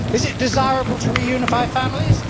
Is it desirable to reunify families?